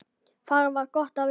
Þar er gott að vera.